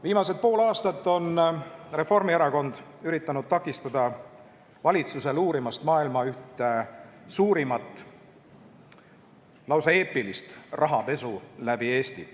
Viimased pool aastat on Reformierakond üritanud takistada valitsusel uurimast maailma ühte suurimat, lausa eepilist rahapesu, mis on toimunud läbi Eesti.